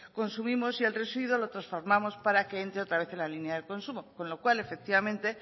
consumimos y el residuo lo transformamos para que entre otra vez en la línea del consumo con lo cual efectivamente